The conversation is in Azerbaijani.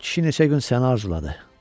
Kişi neçə gün səni arzuladı.